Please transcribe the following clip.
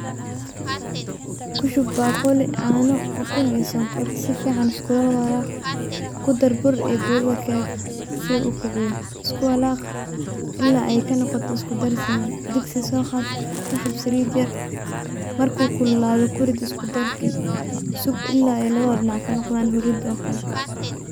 ku shub ,baaquli caano, ukun iyo sonkor ,si fiican iskuula walaaq, ku dar bur iyo budada keega si uu u kiciyo iskula walaaq ilaa ay ka noqoto isku dar siman ,soo qaad ku shub saliid yar ,markuu kullulaado ku rid isku-darkii, sug ilaa lawada dhinac ay ka noqdaan hurruud oo kale.